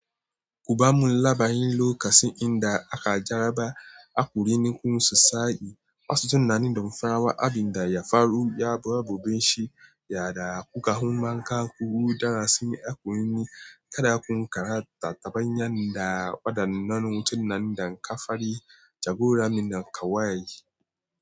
Kuba mulla bayan lokasi inda aka jaraba a kurini kun sa sa'i, masu tunanin damfara wa abin da ya faru ya ba bobenshi. Yada kuka humanka ku huda si a kuyuni kada kun karanta tabanyan da wadannan hutun nan da kafari jagora mina kawaye.